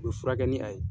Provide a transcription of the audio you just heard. U bɛ furakɛ ni a ye